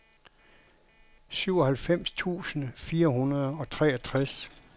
syvoghalvfems tusind fire hundrede og treogtres